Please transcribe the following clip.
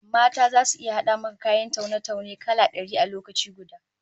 Mata zasu iya hada maka kayan taune-taune kala dari a lokaci gusa